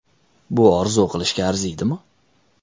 Bu orzu qilishga arziydimi?